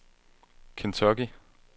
Kentucky